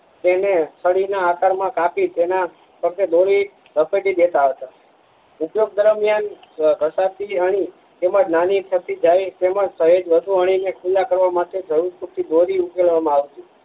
તેને છરી ના આકાર માં કાપી તેના ફરતે દોરી લપેટી દેતા હતા ઉપયોગ દરમિયાન ઘસાતી અણી તેમજ નાની સરખી જાય તેમજ સહેજ વધુ અણી ને ખુલ્લા કરવા માટે જરૂર પડતી દોરી ઉકેલવા માં આવતી